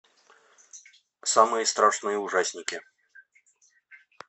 самые страшные ужастики